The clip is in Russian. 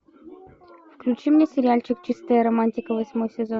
включи мне сериальчик чистая романтика восьмой сезон